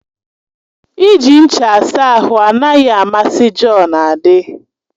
Iji ncha asa ahụ anaghị amasị Jọn. adị